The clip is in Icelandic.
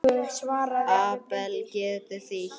Abel getur þýtt